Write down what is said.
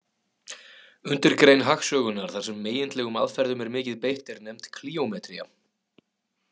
Undirgrein hagsögunnar þar sem megindlegum aðferðum er mikið beitt er nefnd klíómetría.